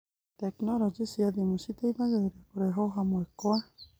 Tekinoronjĩ cia thimũ citeithagia kũrehwo hamwe kwa